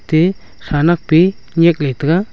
te khanak pi nyiak le taiga.